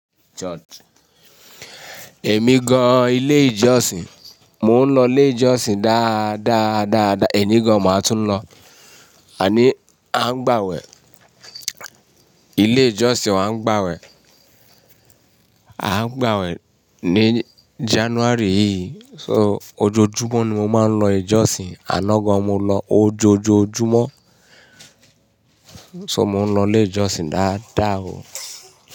Èmi gan ilé ìjọsìn, mo ń lọ ilé ìjọsìn dáadáa dáadáa, èní gan máa tún ń lọ. A ní a ń gbàwẹ̀, ilé ìjọsìn wa ń gbàwẹ̀, a ń gbàwẹ̀ ní January yìí. So ojoojúmọ́ ni mo máa ń lọ ìjọsìn, àná gan mo lọ ojoojúmọ́. So mo ń lọ ilé ìjọsìn dáadáa o.